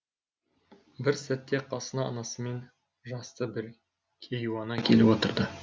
бір сәтте қасына анасымен жасты бір кейуана келіп отырды